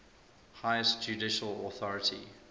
highest judicial authority